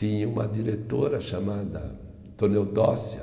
Tinha uma diretora chamada Toneldócia,